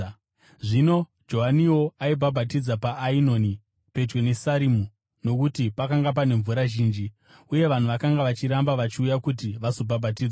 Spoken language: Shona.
Zvino Johaniwo aibhabhatidza paAenoni pedyo neSarimu nokuti pakanga pane mvura zhinji, uye vanhu vakanga vachiramba vachiuya kuti vazobhabhatidzwa.